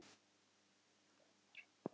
Hver er þetta með leyfi?